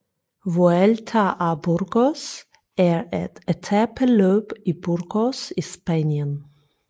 Vuelta a Burgos er et etapeløb i Burgos i Spanien